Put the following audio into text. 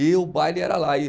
E o baile era lá. e